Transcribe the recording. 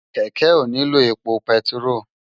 Kèkè óniló épó pètiró